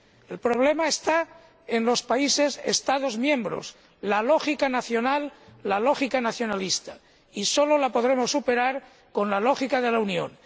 El problema está en los países Estados miembros la lógica nacional, la lógica nacionalista, que solo podremos superar con la lógica de la Unión.